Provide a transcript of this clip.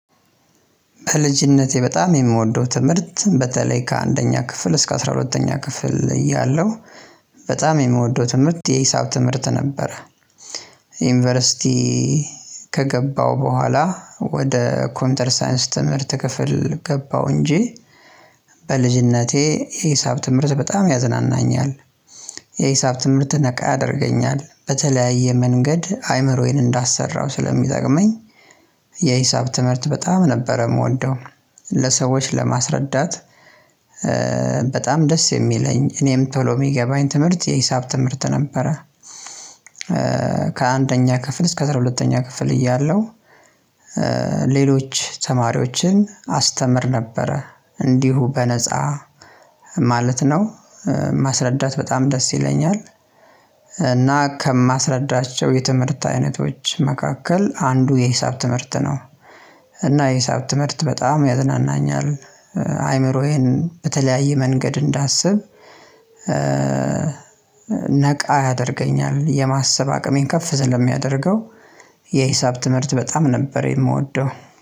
በልጅነቴ በጣም የምወደው ትምህርት በተለይ ከአንደኛ ክፍል እስከ አስራ ሁለተኛ ክፍል እያለሁ በጣም የምወደው ትምህርት የሂሳብ ትምህርት ነበረ። ዩኒቨርሲቲ ከገባው በኋላ ወደ ኮምፒዩተር ሳይንስ ትምህርት ክፍል ገባው እንጂ። በልጅነቴ የሂሳብ ትምህርት በጣም ያዝናናኛል የሂሳብ ትምህርት ነቃ ያደርገኛል በተለያየ መንገድ አይምሮዬን እንዳሰራው ስለሚጠቅመኝ። የሂሳብ ትምህርት በጣም ነበረ የምወደው ለሰዎች ለማስረዳት በጣም ደስ የሚለኝ እኔም ቶሎ ሚገባኝ ትምህርት የሂሳብ ትምህርት ነበረ። ከአንደኛ ክፍል እስከ አስራ ሁለተኛ ክፍል እያለሁ። ሌሎች ተማሪዎችን አስተምር ነበረ እንዲሁ በነፃ ማለት ነው። ማስረዳት በጣም ደስ ይለኛል። እና ከማስረዳቸው የትምህርት አይነቶች መካከል አንዱ የሂሳብ ትምህርት ነው። እና የሂሳብ ትምህርት በጣም ያዝናናኛል። አይምሮዬን በተለያየ መንገድ እንዳስብ ነቃ ያደርገኛል የማሰብ አቅሜን ከፍ ስለሚያደርገው። የሂሳብ ትምህርት በጣም ነበር የምወደው።